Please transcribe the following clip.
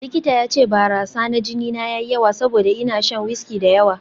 Likita ya ce barasa na jini na ya yi yawa saboda ina shan wiski da yawa